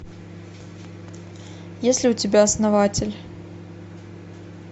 есть ли у тебя основатель